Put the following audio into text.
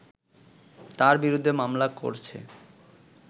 তার বিরুদ্ধে মামলা করছে